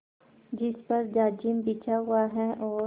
जिस पर जाजिम बिछा हुआ है और